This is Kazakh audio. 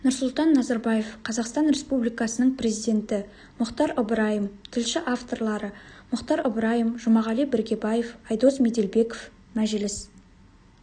нұрсұлтан назарбаев қазақстан республикасының президенті мұхтар ыбырайым тілші авторлары мұхтар ыбырайым жұмағали біргебаев айдос меделбеков мәжіліс